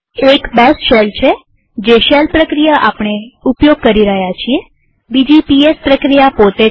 એક બેશ છેજે શેલ પ્રક્રિયા આપણે ઉપયોગ કરી રહ્યા છીએબીજી પીએસ પ્રક્રિયા પોતે